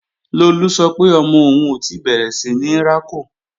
Lolú sọ pé ọmọ òun ò tí bẹ̀rẹ̀ síní rákò